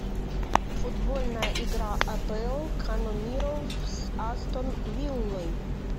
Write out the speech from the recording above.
футбольная игра апл канониров с астон виллой